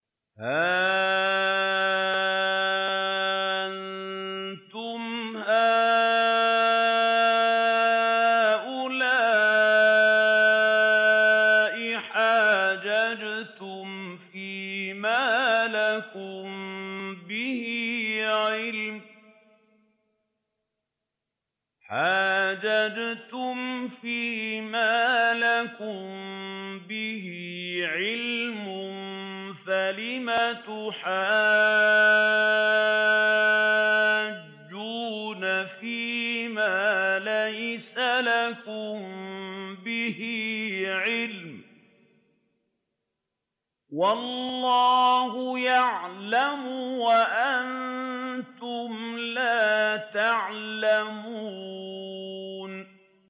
هَا أَنتُمْ هَٰؤُلَاءِ حَاجَجْتُمْ فِيمَا لَكُم بِهِ عِلْمٌ فَلِمَ تُحَاجُّونَ فِيمَا لَيْسَ لَكُم بِهِ عِلْمٌ ۚ وَاللَّهُ يَعْلَمُ وَأَنتُمْ لَا تَعْلَمُونَ